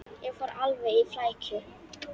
Ég fór alveg í flækju.